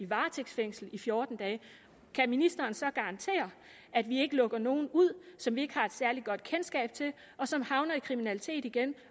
varetægtsfængslet i fjorten dage kan ministeren så garantere at vi ikke lukker nogen ud som vi ikke har et særlig godt kendskab til og som havner i kriminalitet igen